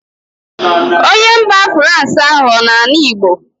Onye mba frans ahụ ọ na-anụ Igbo